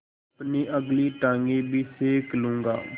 अपनी अगली टाँगें भी सेक लूँगा